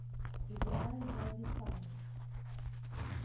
играй джаззифанк